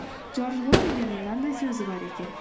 джордж лоримердің мынандай сөзі бар екен